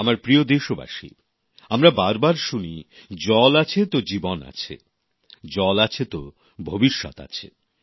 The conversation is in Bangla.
আমার প্রিয় দেশবাসী আমরা বারবার শুনি জল আছে তো জীবন আছে জল আছে তো ভবিষ্যৎ আছে